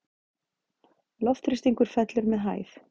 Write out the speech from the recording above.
Loftþrýstingur fellur með hæð.